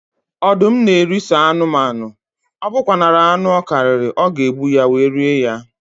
Ọdụm na eri sọ anụmanụ, ọbụkwanara anụ ọ karịrị, ọ ga egbu ya, wee rie ya